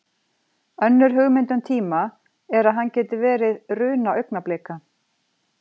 Önnur hugmynd um tíma er að hann geti verið runa augnablika.